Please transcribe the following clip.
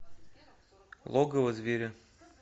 логово зверя